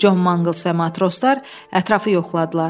Con Manquls və matroslar ətrafı yoxladılar.